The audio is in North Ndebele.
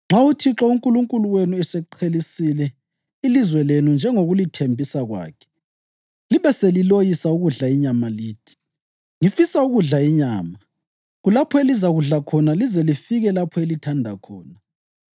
Nxa uThixo uNkulunkulu wenu eseqhelisile ilizwe lenu njengokulethembisa kwakhe, libe seliloyisa ukudla inyama lithi, ‘Ngifisa ukudla inyama,’ kulapho elizakudla khona lize lifike lapho elithanda khona.